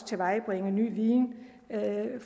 tilvejebringe ny viden